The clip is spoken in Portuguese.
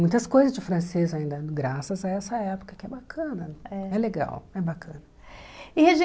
Muitas coisas de francês ainda, graças a essa época, que é bacana, é legal, é bacana. E a